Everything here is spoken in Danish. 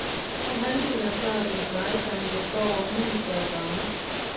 Kom halvdelen af smørret i en stegepande, der står over middelstærk varme.